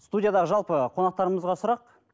студиядағы жалпы қонақтарымызға сұрақ